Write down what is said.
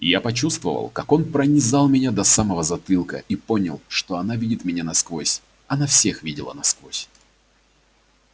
я почувствовал как он пронизал меня до самого затылка и понял что она видит меня насквозь она всех видела насквозь